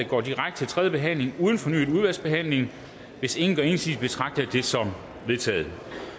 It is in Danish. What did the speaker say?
går direkte til tredje behandling uden fornyet udvalgsbehandling hvis ingen gør indsigelse betragter jeg det som vedtaget